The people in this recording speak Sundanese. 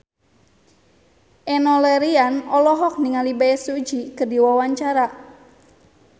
Enno Lerian olohok ningali Bae Su Ji keur diwawancara